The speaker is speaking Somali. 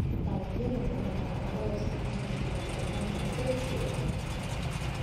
Dalagyada miraha waxaa loo isticmaali karaa sameynta keeg iyo cabitaanno.